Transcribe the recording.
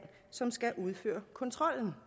som skal udføre kontrollen